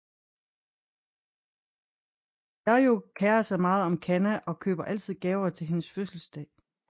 Yayoi kærer sig meget om Kanna og køber altid gaver til hendes fødselsdag